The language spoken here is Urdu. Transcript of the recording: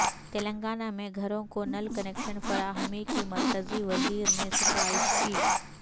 تلنگانہ میں گھروں کو نل کنکشن فراہمی کی مرکزی وزیر نے ستائش کی